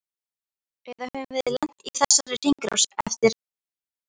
Eða höfum við lent í þessari hringrás fyrir hálfgerða slysni?